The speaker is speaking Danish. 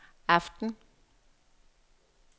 aften